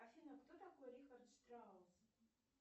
афина кто такой рихард штраус